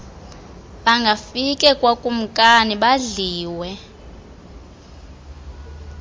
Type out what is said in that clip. bangafike kwakumkani badliwe